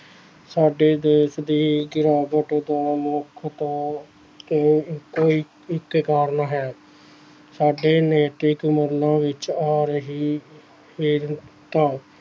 ਸਾਡੇ ਦੇਸ ਦੀ ਗਿਰਾਵਟ ਦਾ ਇਹੋ ਇੱਕ ਕਾਰਨ ਹੈ ਸਾਡੇ ਨੈਤਿਕ ਮੁੱਲਾਂ ਵਿੱਚ ਆ ਰਹੀ